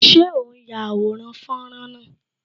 Ṣé o n ya àwòrán fọ́nrán náà?